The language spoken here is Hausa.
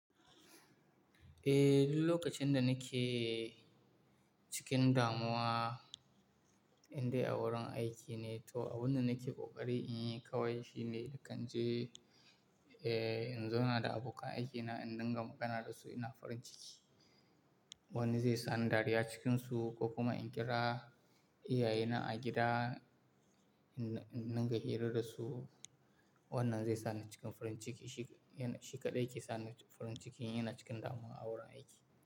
Eh, duk lokacin da nake cikin damuwa, in dai a wurin aiki ne, to abin da nake kokari in yi kawai shine, na kan je in zauna da abokan aikina, in dinga magana da su ina farin ciki. Wani zai sa ni dariya cikinsu ko kuma in kira iyayena a gida, in dunga hira da su. Wannan zai sa ni cikin farin ciki. Shi kaɗai yake sa ni farin ciki in ina cikin damuwa a wurin aiki.